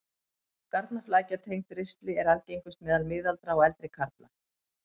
Garnaflækja tengd ristli er algengust meðal miðaldra og eldri karla.